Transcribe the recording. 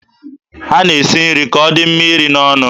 A na-esi nri ka ọ dị mma iri n'ọnụ.